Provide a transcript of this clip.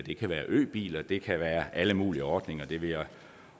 øbiler det kan være alle mulige ordninger det vil jeg